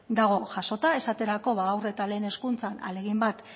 dago jasota esaterako haur eta lehen hezkuntzan ahalegin bat